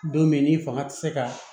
Don min n'i fanga tɛ se ka